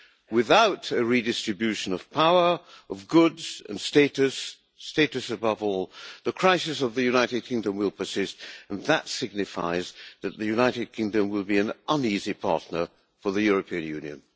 Without a redistribution of power, of goods and status status above all the crisis of the United Kingdom will persist. And that signifies that the United Kingdom will be an uneasy partner for the European Union.